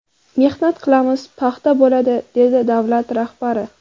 Mehnat qilamiz, paxta bo‘ladi”, dedi davlat rahbari.